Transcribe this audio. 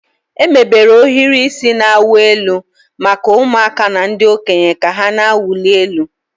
Emebere ohiri isi na-awụ elu maka ụmụaka na ndị okenye ka ha na-awụli elu.